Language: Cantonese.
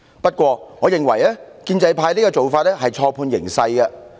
然而，我認為建制派此舉是錯判形勢。